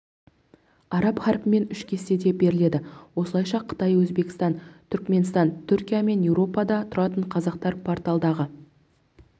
араб харпімен үш кестеде беріледі осылайша қытай өзбекстан түрікменстан түркия мен еуропада тұратын қазақтар порталдағы